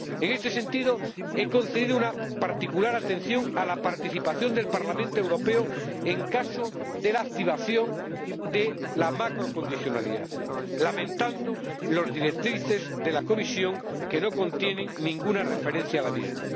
En este sentido, he concedido una particular atención a la participación del Parlamento Europeo en caso de la activación de la macrocondicionalidad, lamentando las directrices de la Comisión, que no contienen ninguna referencia a la misma.